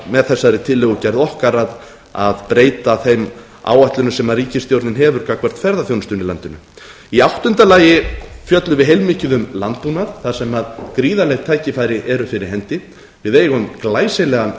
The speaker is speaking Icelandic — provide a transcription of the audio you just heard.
með þessari tillögugerð okkar að breyta þeim áætlunum sem ríkisstjórnin hefur gagnvart ferðaþjónustunni í landinu í áttunda lagi fjöllum við heilmikið um landbúnað þar sem gríðarleg tækifæri eru fyrir hendi við eigum glæsilegan